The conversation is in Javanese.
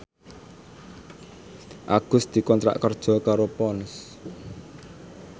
Agus dikontrak kerja karo Ponds